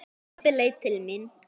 Pabbi leit til mín.